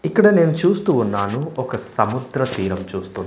ఇక్కడ నేను చూస్తూ ఉన్నాను ఒక సముద్ర తీరం చూస్తూ.